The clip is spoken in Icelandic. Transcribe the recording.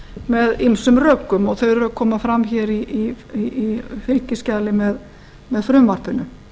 með ýmsum rökum og þau koma fram hér í fylgiskjali með frumvarpinu